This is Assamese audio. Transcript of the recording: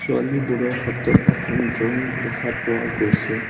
ছোৱালীবোৰৰ হাতত এখন ড্ৰয়িং দেখা পোৱা গৈছে।